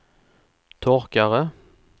torkare